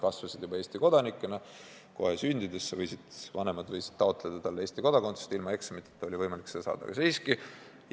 Lapsed said kasvada Eesti kodanikena, sest kohe sündides võisid vanemad taotleda neile Eesti kodakondsust ja seda oli võimalik saada ilma eksamiteta.